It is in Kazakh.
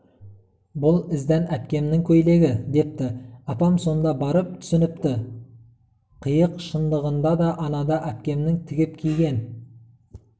бүл іздән әпкемнің көйлегі депті апам сонда барып түсініпті қиық шындығында да анада әпкемнің тігіп киген